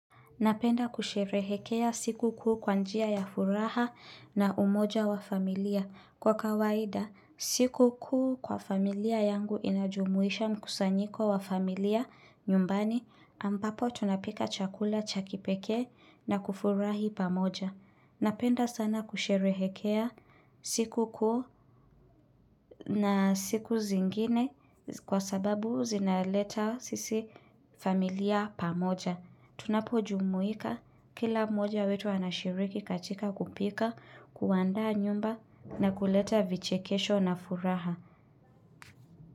Napenda kusherehekea siku kuu kwa njia ya furaha na umoja wa familia. Kwa kawaida, siku kuu kwa familia yangu inajumuisha mkusanyiko wa familia nyumbani ambapo tunapika chakula cha kipekee na kufurahi pamoja. Napenda sana kusherehekea siku kuhu na siku zingine kwa sababu zinaleta sisi familia pamoja. Tunapo jumuika kila mmoja wetu anashiriki katika kupika, kuandaa nyumba na kuleta vichekesho na furaha.